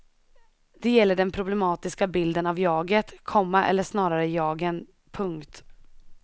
Det gäller den problematiska bilden av jaget, komma eller snarare jagen. punkt